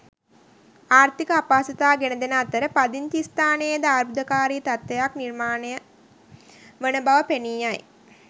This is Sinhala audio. ආර්ථික අපහසුතා ගෙනදෙන අතර පදිංචි ස්ථානයේද අර්බුදකාරී තත්ත්වයක් නිර්මාණය වන බව පෙනී යයි.